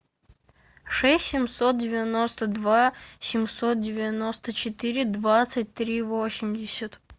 шесть семьсот девяносто два семьсот девяносто четыре двадцать три восемьдесят